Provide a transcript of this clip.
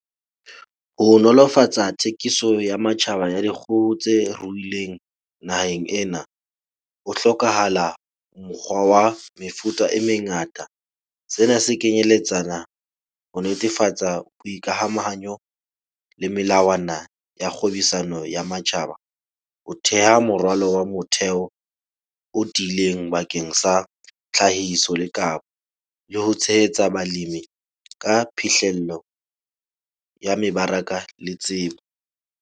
Ho nolofatsa thekiso ya matjhaba ya dikgoho tse ruileng naheng ena ho hlokahala mokgwa wa mefuta e mengata. Sena se kenyeletsana ho netefatsa boikamahanyo le melawana ya kgwebisano ya matjhaba. Ho theha morwalo wa motheo o tiileng bakeng sa tlhahiso le kapa le ho tshehetsa balimi ka phihlello ya mebaraka le tsebo.